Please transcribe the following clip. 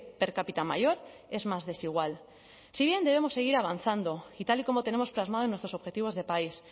per cápita mayor es más desigual si bien debemos seguir avanzando y tal y como tenemos plasmado en nuestros objetivos de país